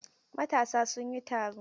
Matasa sun yi taro.